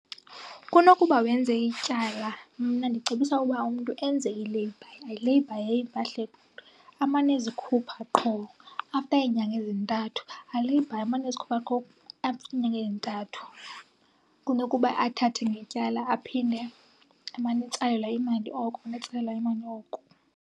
Kunokuba wenze ityala mna ndicebisa uba umntu enze i-layby. Aleyibhaye empahleni, amane ezikhupha qho after iinyanga ezintathu. Aleyibhaye amane ezikhupha qho after iinyanga ezintathu kunokuba athathe ngetyala aphinde amane etsalelwa imali oko, amane etsalelwa imali oko.